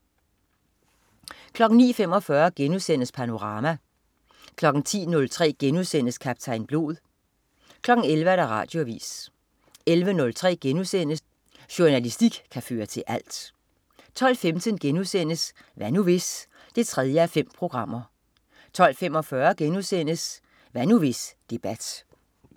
09.45 Panorama* 10.03 Kaptajn Blod* 11.00 Radioavis 11.03 Jornalistik kan føre til alt* 12.15 Hvad nu hvis? 3:5* 12.45 Hvad nu hvis debat*